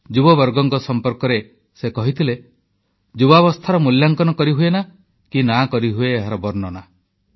ଯୁବବର୍ଗଙ୍କ ସମ୍ପର୍କରେ ସେ କହିଥିଲେ ଯୁବାବସ୍ଥାର ମୂଲ୍ୟାଙ୍କନ କିମ୍ବା ବର୍ଣ୍ଣନା କରିହୁଏନା